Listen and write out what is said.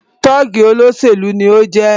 Tọ́ọ̀gì olóṣèlú ni o jẹ́